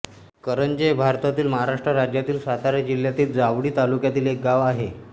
करंजे हे भारतातील महाराष्ट्र राज्यातील सातारा जिल्ह्यातील जावळी तालुक्यातील एक गाव आहे